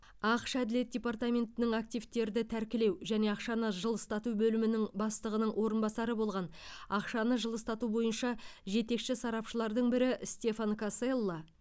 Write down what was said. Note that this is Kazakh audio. ақш әділет департаментінің активтерді тәркілеу және ақшаны жылыстату бөлімінің бастығының орынбасары болған ақшаны жылыстату бойынша жетекші сарапшылардың бірі стефан каселла